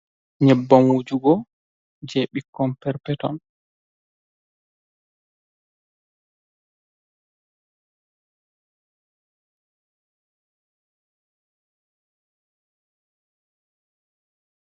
Nyebban wujugo je ɓikkon perpeton.